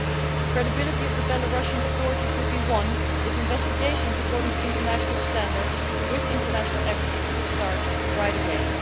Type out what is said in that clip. The credibility of the Belarusian authorities would be won if investigations carried out in line with international standards, with international experts, were to start right away.